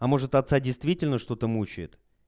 а может отца действительно что-то мучает